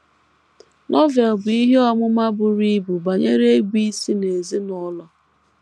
Novel bu ihe ọmụma buru ibu banyere ịbụisi n’ezinụlọ.